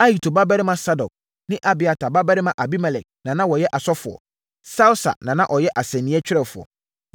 Ahitub babarima Sadok ne Abiatar babarima Abimelek na na wɔyɛ asɔfoɔ. Sawsa na na ɔyɛ asɛnniiɛ twerɛfoɔ.